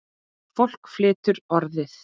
Fólk flytur Orðið.